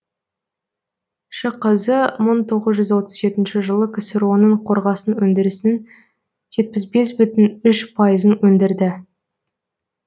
шқз мың тоғыз жүз отыз жетінші жылы ксро ның қорғасын өндірісінің жетпіс бес бүтін үш пайызын өндірді